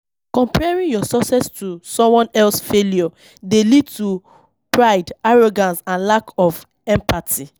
Comparing your success to someone else failure dey lead to pride, arrogance and lack of empathy.